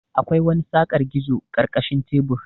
Akwai wani saƙar gizo karkashin tebur.